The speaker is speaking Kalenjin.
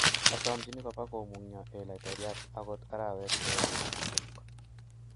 Asomchini kopa komungio eeh laitoriat ogot arawet agenge kityok.